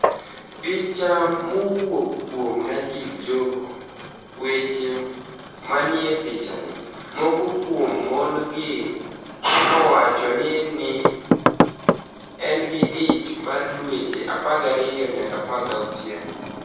Picha mowuok kuom niajib Joho weche maniie pichanii, moko kuom moni-go nowacho nii ni e gini gi ich mar dweche 12 niyaka 16.